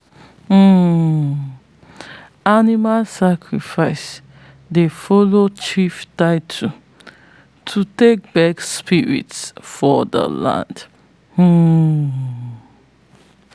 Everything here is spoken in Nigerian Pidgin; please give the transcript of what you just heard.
um animal sacrifice dey follow chief titles to take beg spirits of the land. um